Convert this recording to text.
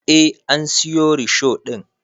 Eh an siyo risho ɗin